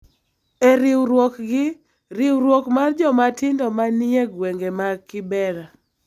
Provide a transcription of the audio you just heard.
e riwruok gi riwruok mar joma tindo ma ni e gwenge mag Kibera.